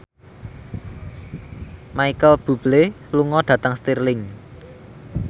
Micheal Bubble lunga dhateng Stirling